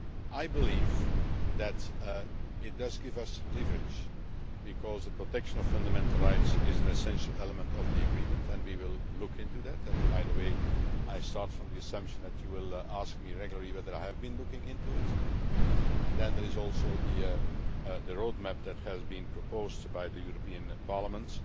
I believe that it does give us leverage, because the protection of fundamental rights is an essential element of the agreement, and we will look into that. By the way, I start from the assumption that you will ask me regularly whether I have been looking into it. Then there is also the roadmap that has been proposed by the European Parliament.